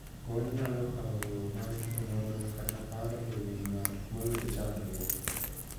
Kony nyalo kawo yoo mar onyongla kata paro e wii ng'at moyudo chandruok.